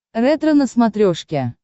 ретро на смотрешке